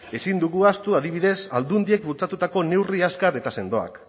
ezin dugu ahazut adibidez aldundiek bultzatutako neurri azkar eta sendoak